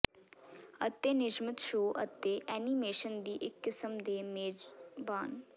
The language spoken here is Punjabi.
ਅਤੇ ਨਿਯਮਿਤ ਸ਼ੋਅ ਅਤੇ ਐਨੀਮੇਸ਼ਨ ਦੀ ਇੱਕ ਕਿਸਮ ਦੇ ਮੇਜ਼ਬਾਨ